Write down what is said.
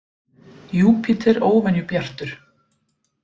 Júpíter óvenju bjartur